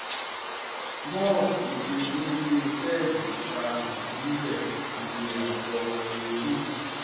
mọ́ọ̀fù ṣe déédé sẹ́ẹ̀lì pupa kò sí níbẹ̀ iye àtọ̀ eighteen